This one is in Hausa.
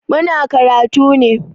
Muna karatu ne.